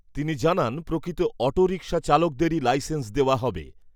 তিনি জানান , প্রকৃত অটোরিক্সা চালকদেরকেই লাইসেন্স দেওয়া হবে।